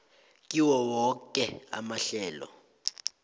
kiwo woke amahlelo